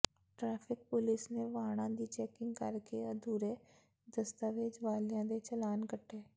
traffic police ਨੇ ਵਾਹਣਾਂ ਦੀ ਚੈਕਿੰਗ ਕਰਕੇ ਅਧੂਰੇ ਦਸਤਾਵੇਜ਼ ਵਾਲਿਆਂ ਦੇ ਚਲਾਨ ਕੱਟੇ